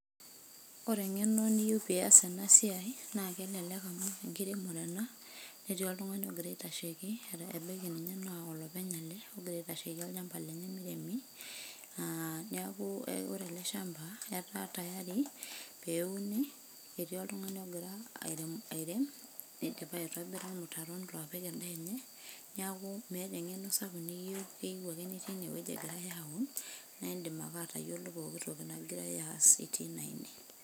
Ore engeno niyieu pee ias ena siai naa kelelek amuu enkiremore ena netii oltungani ogira aitasheiki ebaiki naa llopeny ele, ogira aitasheiki olchamba lenye meiremi naa niaku ore ele shamba etaa tayari peyie euni etii oltungani ogira airem neidipa aitobira irmutaron oopik endaa enye niaku meeta engeno sapuk niyieu , keyieu ake nitii enewueji egirai aaun naa indim ake atayiolo enegirai aas teine.